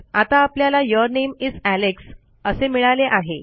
आता आपल्याला your name is Alex असे मिळाले आहे